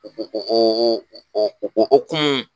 O o o o o o hokumu